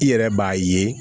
I yɛrɛ b'a ye